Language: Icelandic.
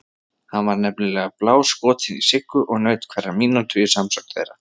Hann var nefnilega BÁLSKOTINN í Siggu og naut hverrar mínútu í samsöng þeirra.